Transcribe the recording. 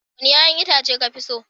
Wanni yayan Itace ka fi so?